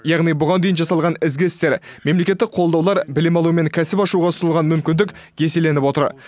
яғни бұған дейін жасалған ізгі істер мемлекеттік қолдаулар білім алу мен кәсіп ашуға ұсынылған мүмкіндік еселеніп отыр